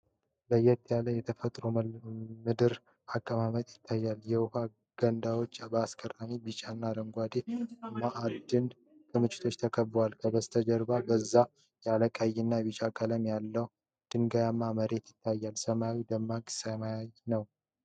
ለየት ያለ የተፈጥሮ ምድር አቀማመጥ ይታያል። የውሃ ገንዳዎች በአስገራሚ ቢጫና አረንጓዴ የማዕድን ክምችቶች ተከበዋል። ከበስተጀርባ በዛ ያለ ቀይና ቢጫ ቀለም ያለው ድንጋያማ መሬት ይታያል። ሰማዩ ደማቅ ሰማያዊ ነው።